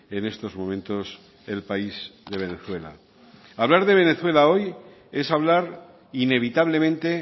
en estos momentos el país de venezuela hablar de venezuela hoy es hablar inevitablemente